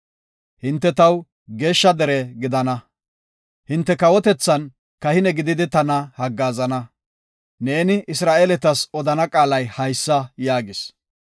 Hinte taw geeshsha dere gidana; hinte kawotethan kahine gididi tana haggaazana.’ Neeni Isra7eeletas odana qaalay haysa” yaagis.